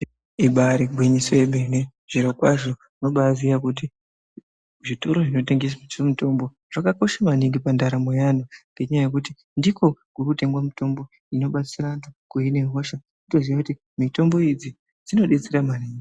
Ibari gwinyiso yemene zvirokwazvo unobaziya kuti zvitoro zvinotengese mitombo zvakakosha maningi pandaramo yeanhu ngendaa yekuti ndiko kurutengwa mitombo inobatsira antu kuhina hosha kutozita kuti mitombo idzi dzinobetsera maningi.